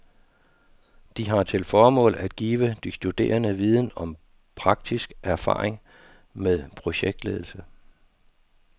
De har til formål at give de studerende viden om og praktisk erfaring med projektledelse.